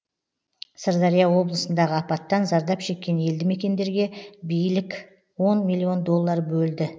сырдария облысындағы апаттан зардап шеккен елді мекендерге билік он миллион доллар бөлді